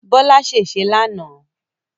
Bọ́lá ṣèṣé lánàá